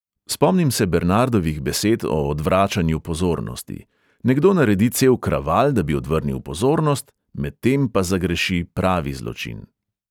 Spomnim se bernardovih besed o odvračanju pozornosti: nekdo naredi cel kraval, da bi odvrnil pozornost, medtem pa zagreši pravi zločin.